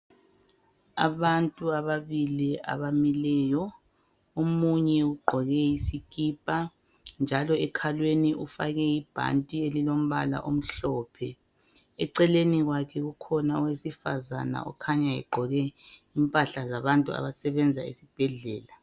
Abantu ababili abamileyo omunye ugqoke isikipa njalo ekhalweni ufake ibhanti elilompala omhlophe ecelelni kwake kukhona owesifazana okhanya egqoke impahla zabantu abasebenza esibhedlela.